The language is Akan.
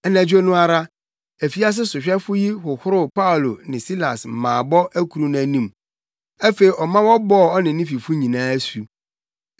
Anadwo no ara, afiase sohwɛfo yi hohoroo Paulo ne Silas mmaabɔ akuru no anim. Afei ɔma wɔbɔɔ ɔne ne fifo nyinaa asu.